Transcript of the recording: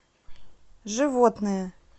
животные